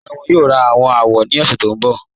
Rárá, wọn yóò rá àwọn àwò ni ọ̀ṣẹ̀ tó nbọ̀.